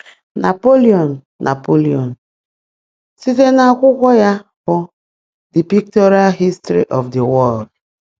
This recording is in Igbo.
Napoleon: Napoleon: Site n’akwụkwọ ya bụ 'The Pictorial History of the World'.